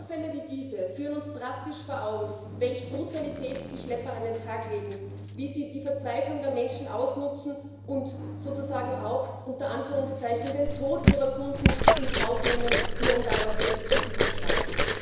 Vorfälle wie diese führen uns drastisch vor Augen, welche Brutalität die Schlepper an den Tag legen, wie sie die Verzweiflung der Menschen ausnutzen und sozusagen auch in Anführungszeichen den Tod ihrer Kunden in Kauf nehmen, nur um daraus selbst Profit zu schlagen.